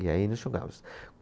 E aí nós jogávamos.